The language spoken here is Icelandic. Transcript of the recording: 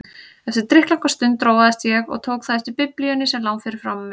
Eftir drykklanga stund róaðist ég og tók þá eftir Biblíunni sem lá fyrir framan mig.